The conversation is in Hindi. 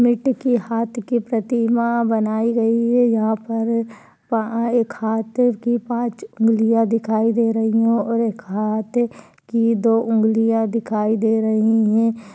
मिट्टी की हाथ की प्रतिमा बनाई गयी है यहा पर अ एक हाथ की पाँच उंगलिया दिखाई दे रही है और एक हाथ की दो उंगलिया दिखाई दे रही है।